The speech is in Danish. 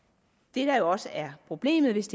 det der jo også er problemet hvis